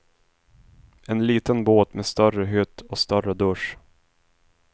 En liten båt med större hytt och större dusch.